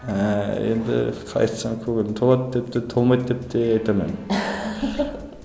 ііі енді қалай айтсам көңілім толады деп те толмайды деп те айта алмаймын